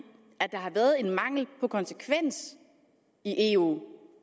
der har været en mangel på konsekvens i eu